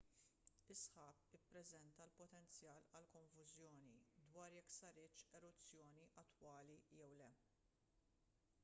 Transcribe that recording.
is-sħab ippreżenta l-potenzjal għal konfużjoni dwar jekk saritx eruzzjoni attwali jew le